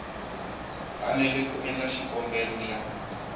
fanele ku endla xikombelo xa